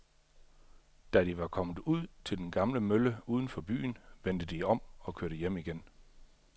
Da de var kommet ud til den gamle mølle uden for byen, vendte de om og kørte hjem igen.